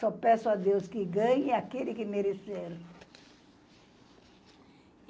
Só peço a Deus que ganhe aquele que merecer.